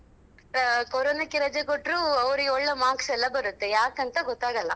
ಅ ಕೊರೊನಕ್ಕೆ ರಜೆ ಕೊಟ್ರು ಒಳ್ಳೆ marks ಎಲ್ಲ ಬರುತ್ತೆ ಯಾಕಂತ ಗೊತ್ತಾಗಲ್ಲ